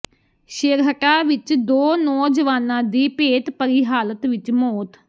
ਛੇਹਰਟਾ ਵਿੱਚ ਦੋ ਨੌਜਵਾਨਾਂ ਦੀ ਭੇਤਭਰੀ ਹਾਲਤ ਵਿੱਚ ਮੌਤ